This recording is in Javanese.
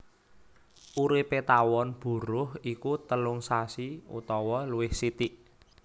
Uripé tawon buruh iku telung sasi utawa luwih sithik